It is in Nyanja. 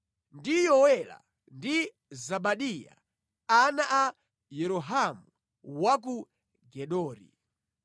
ndi Yowela ndi Zebadiya ana a Yerohamu wa ku Gedori.